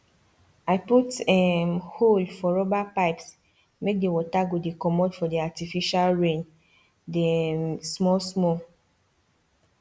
i put um hole for rubber pipesmake the water go dey commot for the artificial raindey um small small